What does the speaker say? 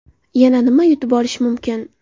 Yana nima yutib olish mumkin?